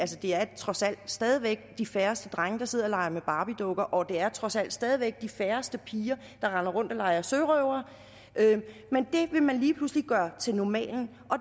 det er trods alt stadig væk de færreste drenge der sidder og leger med barbiedukker og det er trods alt stadig væk de færreste piger der render rundt og leger sørøvere men det vil man lige pludselig gøre til normalen og